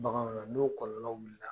Baganw , n'o kɔlɔlɔ wulila